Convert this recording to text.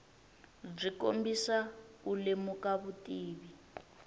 byi kombisa u lemuka vutivi